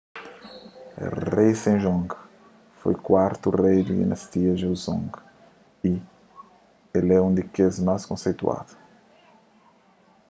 rei sejong foi kuartu rei di dinastia joseon y el é un di kes más konseituadu